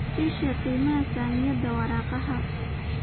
ii sheeg qiimaha saamiyada waraaqaha